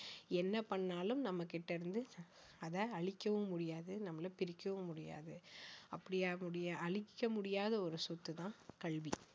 என்ன பண்ணாலும் நம்மகிட்ட இருந்து அதை அழிக்கவும் முடியாது நம்மள பிரிக்கவும் முடியாது அப்படி உன்னுடைய அழிக்க முடியாத ஒரு சொத்து தான் கல்வி